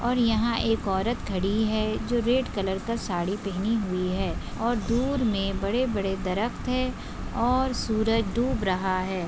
और यहा एक औरत खड़ी है। जो रेड कलर का साड़ी पहनी हुई है। और दूर मे बड़े बड़े दरख्त है और सूरज डूप रहा है।